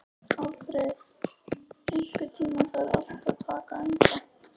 Alfreð, einhvern tímann þarf allt að taka enda.